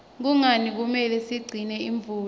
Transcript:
kungani kumele sigcine imvelo